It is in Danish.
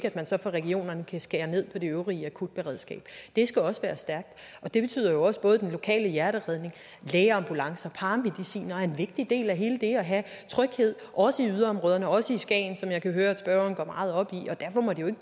at man så fra regionernes side kan skære ned på det øvrige akutberedskab det skal også være stærkt og det betyder også at både den lokale hjerteredning lægeambulancer paramedicinere er vigtige dele af hele det at have tryghed også i yderområderne også i skagen som jeg kan høre spørgeren går meget op